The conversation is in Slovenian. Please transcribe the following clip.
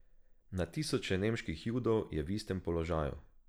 Na tisoče nemških Judov je v istem položaju.